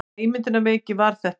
Hvaða ímyndunarveiki var þetta?